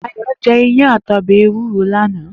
Dayo jè iyán àtí òbè éwúró lànâ